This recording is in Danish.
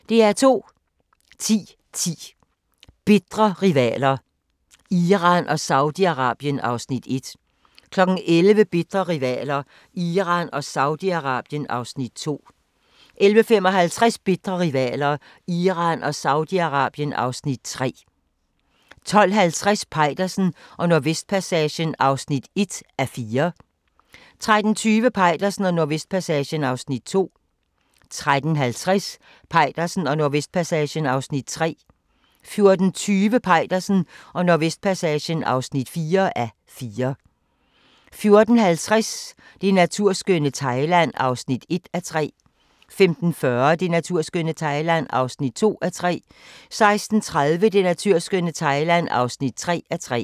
10:10: Bitre rivaler: Iran og Saudi-Arabien (Afs. 1) 11:00: Bitre rivaler: Iran og Saudi-Arabien (Afs. 2) 11:55: Bitre rivaler: Iran og Saudi-Arabien (Afs. 3) 12:50: Peitersen og Nordvestpassagen (1:4) 13:20: Peitersen og Nordvestpassagen (2:4) 13:50: Peitersen og Nordvestpassagen (3:4) 14:20: Peitersen og Nordvestpassagen (4:4) 14:50: Det naturskønne Thailand (1:3) 15:40: Det naturskønne Thailand (2:3) 16:30: Det naturskønne Thailand (3:3)